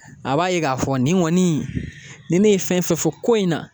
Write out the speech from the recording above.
A b'a ye k'a fɔ nin kɔni ni ne ye fɛn fɛn fɔ ko in na